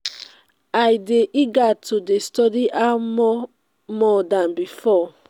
i dey eager to dey study now more more dan before.